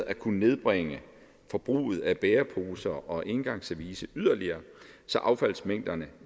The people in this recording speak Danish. at kunne nedbringe forbruget af bæreposer og engangsservice yderligere så affaldsmængderne